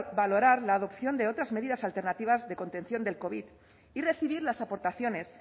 valorar la adopción de otras medidas alternativas de contención del covid y recibir las aportaciones